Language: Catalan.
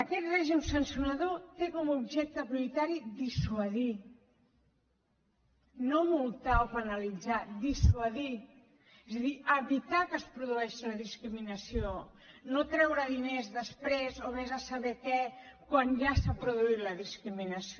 aquest règim sancionador té com a objecte prioritari dissuadir no multar o penalitzar dissuadir és a dir evitar que es produeixi la discriminació no treure diners després o vés a saber què quan ja s’ha produït la discriminació